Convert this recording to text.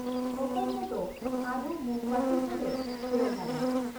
ᱚᱠᱚᱭ ᱠᱚᱫᱚ ᱟᱨᱦᱚᱸ ᱢᱳᱢᱵᱟᱛᱤ ᱦᱚᱸᱞᱮ ᱵᱮᱣᱦᱟᱨᱟ ᱾